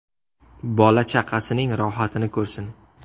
Bola-chaqasining rohatini ko‘rsin.